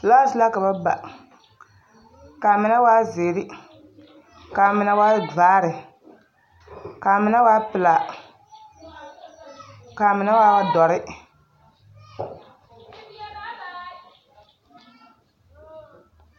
Filaasi la ka ba ba k'a mine waa zeere k'a mine waa vaare k'a mine waa pelaa k'a mine waa dɔre.